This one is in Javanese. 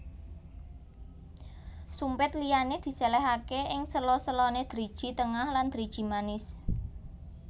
Sumpit liyane diselehake ing sela selane driji tengah lan driji manis